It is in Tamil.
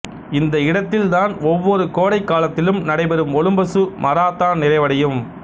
இந்த இடத்தில் தான் ஒவ்வொரு கோடைக் காலத்திலும் நடைபெறும் ஒலிம்பசு மராத்தான் நிறைவடையும்